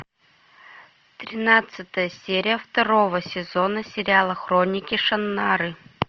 тринадцатая серия второго сезона сериала хроники шаннары